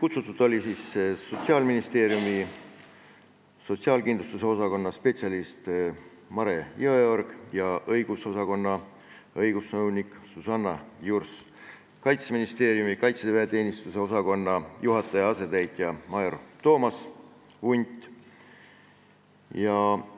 Kutsutud olid Sotsiaalministeeriumi sotsiaalkindlustuse osakonna peaspetsialist Mare Jõeorg ja õigusosakonna õigusnõunik Susanna Jurs, Kaitseministeeriumi kaitseväeteenistuse osakonna juhataja asetäitja major Toomas Unt,